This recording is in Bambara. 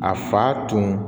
A fa tun